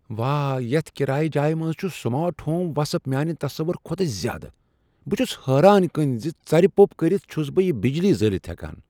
واہ، یتھ كِرایہ جایہِ منٛز چھ سمارٹ ہوم وصف میانہِ تصوُر كھۄتہ زیادٕ ۔ یہِ چُھ حیران کُن زِ ژَرِ پوٚپ كٔرِتھ چھُس بہٕ یہٕ بجلی زٲلِتھ ہیكان ۔